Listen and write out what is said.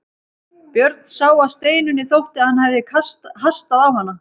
Björn sá að Steinunni þótti að hann hafði hastað á hana.